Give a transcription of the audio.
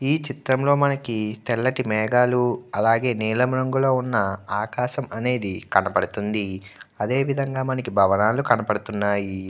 ఈ చిత్రంలో మనకి తెల్లటి మేఘాలు అలాగే నీలం రంగులో ఉన్న ఆకాశం అనేది కనపడుతుంది. అదేవిధంగా మనకి భవనాలు కనపడుతున్నాయి.